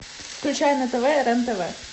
включай на тв рен тв